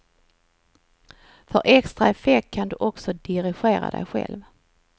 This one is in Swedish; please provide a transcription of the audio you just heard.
För extra effekt kan du också dirigera dig själv.